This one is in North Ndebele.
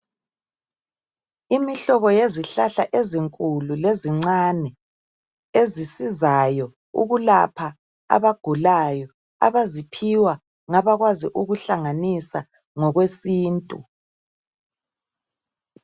Imihlobo yezihlahla ezinkulu lezincane. Ezisizayo, ukulapha abagulayo. Abaziphiwa ngabakwazi ukuhlanganisa ngokwesintu.